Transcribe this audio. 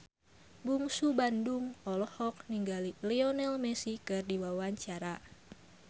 Bungsu Bandung olohok ningali Lionel Messi keur diwawancara